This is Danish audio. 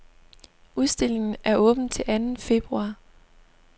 Udstillingen er åben til anden februar.